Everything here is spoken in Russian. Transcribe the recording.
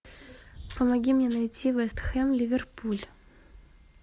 помоги мне найти вест хэм ливерпуль